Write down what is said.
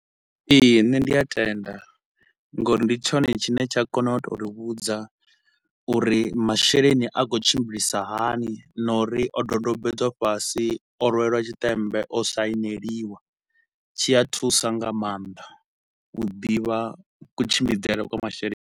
Ee, nṋe ndi a tenda nga uri ndi tshone tshine tsha kona u tou ri vhudza uri masheleni a khou tshimbilisa hani na uri o dodombedzwa fhasi, o rwelwa tshiṱemmbe, o saineliwa. Tshi a thusa nga maanḓa u ḓivha kutshimbidzele kwa mwasheleni.